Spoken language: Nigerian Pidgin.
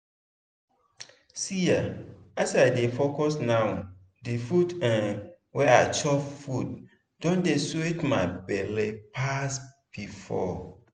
see eh as i dey focus now di food um wey i chop food don dey sweet my belle pass before.